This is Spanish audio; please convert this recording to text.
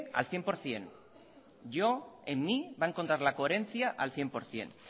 al cien por ciento yo en mí va a encontrar la coherencia al cien por ciento